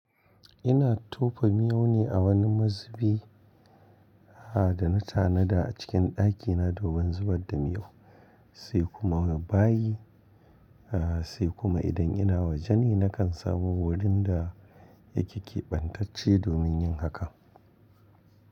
Ina tofa miyo ne a wani mazubi da na tanada a cikin dakina domin zubar da miyo, sai kuma bayi, sai kuma idan ina waje ni na kan samu wurin da yake kebantacce domin yin haka.